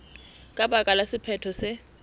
ka baka la sephetho se